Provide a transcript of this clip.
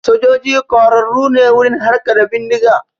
Sojoji ƙwararru ne wurin harka da bindiga